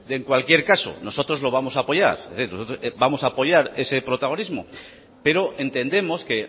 en cualquier caso nosotros lo vamos a apoyar es decir nosotros vamos a apoyar ese protagonismo pero entendemos que